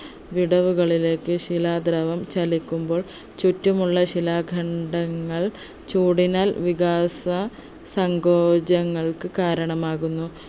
വിടവുകളിലേക് ശിലാദ്രവം ചലിക്കുമ്പോൾ ചുറ്റുമുള്ള ശിലാഖണ്ഡങ്ങൾ ചൂടിനാൽ വികാസ സങ്കോചങ്ങൾക്ക് കാരണമാകുന്നു